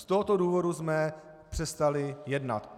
Z tohoto důvodu jsme přestali jednat.